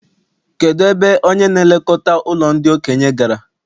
Kedụ ebe onye na-elekọta ụlọ ndị okenye gara?